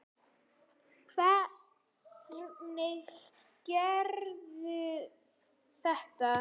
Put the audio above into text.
Hvernig gerirðu þetta?